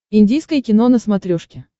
индийское кино на смотрешке